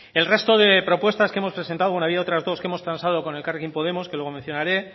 el resto de propuestas que hemos presentado bueno ha habido otras dos que hemos transado con elkarrekin podemos que luego mencionaré